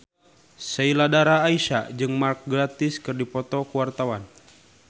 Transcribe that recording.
Sheila Dara Aisha jeung Mark Gatiss keur dipoto ku wartawan